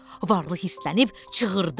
Varlı hiddətlənib çığırdı.